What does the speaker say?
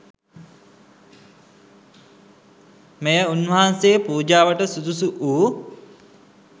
මෙය උන්වහන්සේ පූජාවට සුදුසු වූ